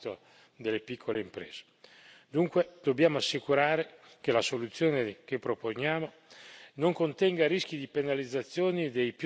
Dunque dobbiamo assicurare che la soluzione che proponiamo non contenga rischi di penalizzazione dei più deboli nelle relazioni commerciali.